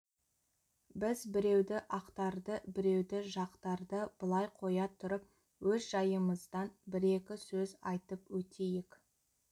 біз біреуді ақтарды біреуді жақтарды былай қоя тұрып өз жайымыздан бір-екі сөз айтып өтейік